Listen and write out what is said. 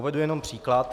Uvedu jen příklad.